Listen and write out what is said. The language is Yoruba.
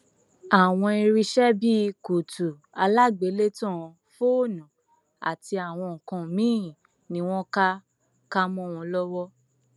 àwọn irinṣẹ bíi kùtù alágbélétan fóònù àti àwọn nǹkan míín ni wọn ká ká mọ wọn lọwọ